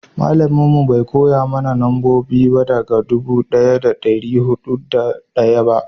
malamin mu bai koya mana nambobi daga dubu daya da dari hudu da daya ba